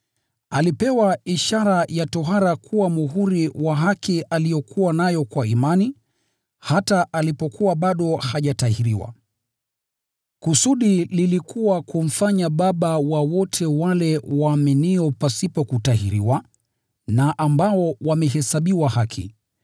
Alipewa ishara ya tohara kuwa muhuri wa haki aliyokuwa nayo kwa imani hata alipokuwa bado hajatahiriwa. Kusudi lilikuwa kumfanya baba wa wote wale waaminio pasipo kutahiriwa na ambao wamehesabiwa haki.